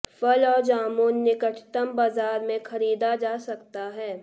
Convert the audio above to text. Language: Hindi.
फल और जामुन निकटतम बाजार में खरीदा जा सकता है